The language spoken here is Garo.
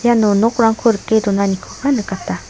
eno nokrangko rike donanikoba nikata.